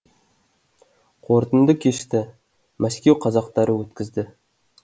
қорытынды кешті мәскеу қазақтары өткізді